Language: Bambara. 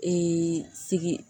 sigi